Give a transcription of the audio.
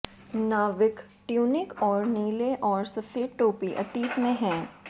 नाविक ट्यूनिक और नीले और सफेद टोपी अतीत में हैं